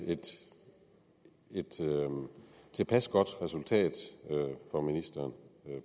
et tilpas godt resultat for ministeren